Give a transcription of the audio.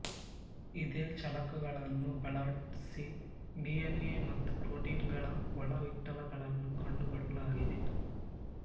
ಇದೇ ಚಳಕಗಳನ್ನು ಬಳಸಿ ಡಿ ಎನ್ ಎ ಮತ್ತು ಪ್ರೋಟೀನ್ಗಳ ಒಳ ಇಟ್ಟಳಗಳನ್ನೂ ಕಂಡುಕೊಳ್ಳಲಾಗಿದೆ